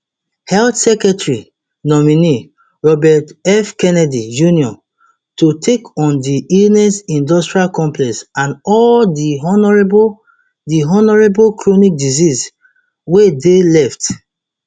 [health secretary nominee] robert f kennedy jr to take on di illness industrial complex and all di horrible di horrible chronic diseases wey dey left